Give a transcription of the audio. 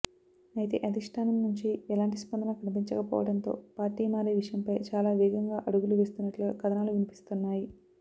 అయితే అధిష్ఠానం నుంచి ఎలాంటి స్పందన కనిపించకపోవడంతో పార్టీ మారే విషయంపై చాలా వేగంగా అడుగులు వేస్తున్నట్లుగా కథనాలు వినిపిస్తున్నాయి